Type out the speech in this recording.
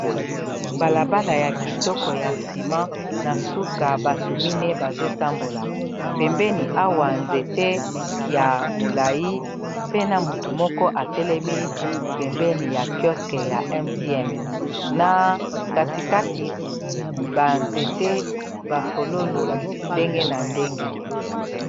balabala ya kitoko ya nsima na suka batu mine bazotambola pembeni awa nzete ya molai pena mutu moko atelemi pembeni ya kyoske ya mtn na katikati banzete bafololo ndenge na ndenge